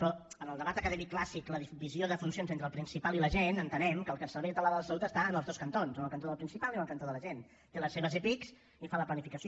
però en el debat acadèmic clàssic la divisió de funcions entre el principal i la gent entenem que el servei català de la salut està en els dos cantons en el cantó del principal i en el cantó de la gent té les seves epic i fa la planificació